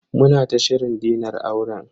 Muna ta shirin dinar auren.